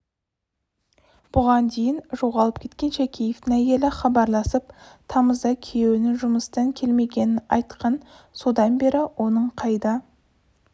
бұған дейін жоғалып кеткен шакеевтің әйелі хабарласып тамызда күйеуінің жұмыстан келмегенін айтқан содан бері оның қайда